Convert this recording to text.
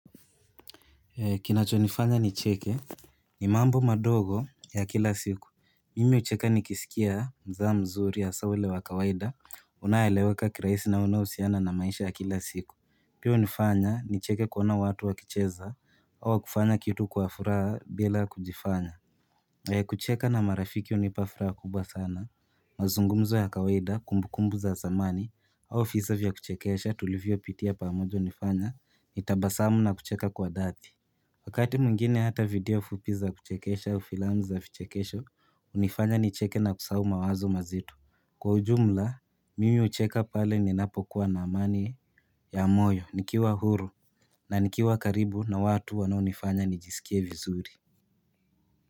Kinachonifanya nicheke ni mambo madogo ya kila siku mimi hucheka nikisikia mzaha mzuri hasa ule wa kawaida unayeeleweka kirahisi na unaohusiana na maisha ya kila siku pia hunifanya nicheke kuona watu wakicheza au kufanya kitu kwa furaha bila kujifanya kucheka na marafiki hunipa furaha kubwa sana mazungumzo ya kawaida kumbukumbu za zamani au visa vya kuchekesha tulivyopitia pamoja hunifanya nitabasamu na kucheka kwa dhati Wakati mwingine hata video fupi za kuchekesha au filamu za vichekesho hunifanya nicheke na kusahau mawazo mazito Kwa ujumla mimi hucheka pale ninapokuwa na amani ya moyo nikiwa huru na nikiwa karibu na watu wanaonifanya nijisikie vizuri.